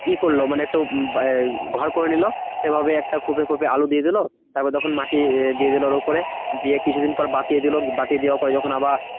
ই করলো মানে একটু ঘর করে নিলো। এভাবে একটা খোপে খোপে আলু দিয়ে দিলো। তারপরে তখন মাটি দিয়ে দিলো ওর উপরে। দিয়ে কিছু দিন পর বাতিয়ে দিলো। বাতিয়ে দেওয়ার পরে যখন আবার